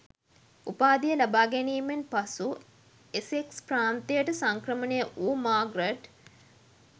උපාධිය ලබාගැනීමෙන් පසු එසෙක්ස් ප්‍රාන්තයට සංක්‍රමණය වූ මාග්‍රට්